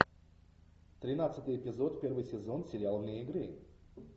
тринадцатый эпизод первый сезон сериал вне игры